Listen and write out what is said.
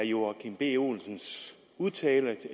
joachim b olsens udtalelse